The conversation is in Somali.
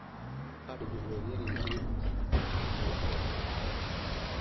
Adhigu way yar yihiin oo waxay cunaan caleen.